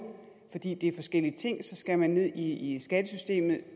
fordi det er forskellige ting skal man ned i skattesystemet